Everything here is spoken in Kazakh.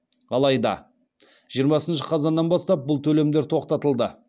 алайда жиырмасыншы қазаннан бастап бұл төлемдер тоқтатылды